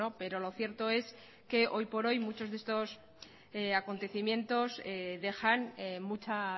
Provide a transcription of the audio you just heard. pero lo cierto es que hoy por hoy muchos de estos acontecimientos dejan mucha